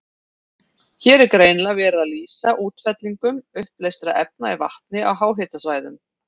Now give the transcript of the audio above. Hér er greinilega verið að lýsa útfellingum uppleystra efna í vatni á háhitasvæðum.